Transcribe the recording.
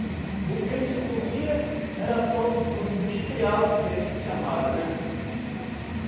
O o que a gente comia era só o o mistrial do peixe chamado, né?